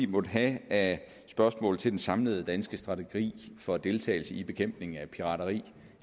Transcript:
måtte have af spørgsmål til den samlede danske strategi for deltagelse i bekæmpelsen af pirateri